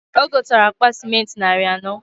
O gotara akpa simenti nari anọọ.